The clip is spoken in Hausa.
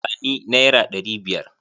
Ba ni naira ɗari biyar!